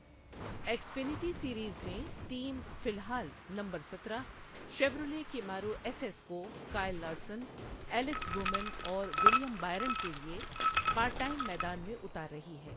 X فنیٹی series میں، team فی الحال نمبر سترہ شیورلیٹ کیمارو ایس ایس کو کائل لارسن، ایلکس بومن، اور ولیم بائرن کے لیے، پارٹ ٹائم میدان میں اتار رہی ہے۔